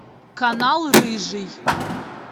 канал рыжий